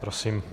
Prosím.